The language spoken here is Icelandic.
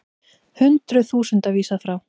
Hundruð þúsunda vísað frá